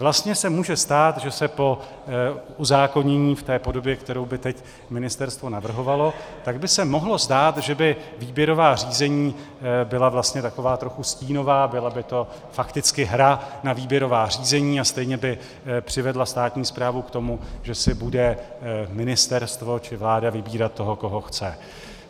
Vlastně se může stát, že se po uzákonění v té podobě, kterou by teď ministerstvo navrhovalo, tak by se mohlo stát, že by výběrová řízení byla vlastně taková trochu stínová, byla by to fakticky hra na výběrová řízení a stejně by přivedla státní správu k tomu, že si bude ministerstvo či vláda vybírat toho, koho chce.